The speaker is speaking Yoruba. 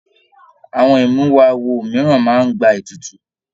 Àwọn imuwọ̀ awo mìíràn máa n gbà ètùtù.